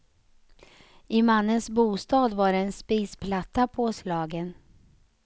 I mannens bostad var en spisplatta påslagen.